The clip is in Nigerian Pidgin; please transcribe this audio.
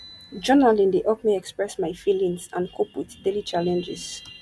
journaling dey help me express my feelings and cope with daily challenges